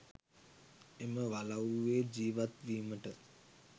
එම වලව්වේ ජීවත් වීමට